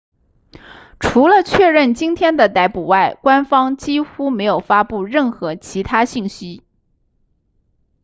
除了确认今天的逮捕外官方几乎没有发布任何其他信息